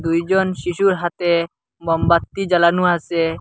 দুইজন শিশুর হাতে মোমবাতি জ্বালানো আছে।